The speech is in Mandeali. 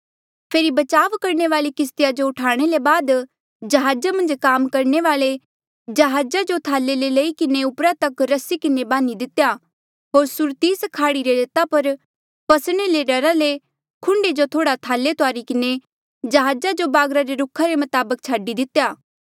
फेरी बचाव करणे वाली किस्तिया जो उठाणे ले बाद जहाजा मन्झ काम करणे वाले जहाजा जो थाले ले लेई किन्हें उपरा तक रस्सी किन्हें बान्ही दितेया होर सुरतिस खाड़ी री रेता पर फसणे रे डरा ले खुंडे जो थोड़ा थाले तुआरी किन्हें जहाजा जो बागरा रे रुखा रे मताबक छाडी दिता